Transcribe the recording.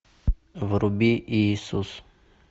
вруби иисус